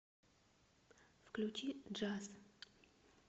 включи джаз